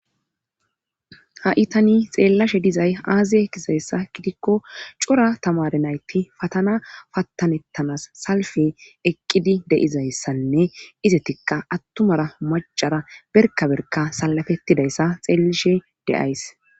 Ha itani xeellashe dizay aaziye kisayssa gidikko cora tamare nayti fatana pattanettanas salfe eqqidi deizayssanne izetikka attumara macara berkaberka salafettidayssa xeellishe deays.